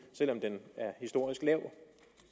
selv om den er historisk lav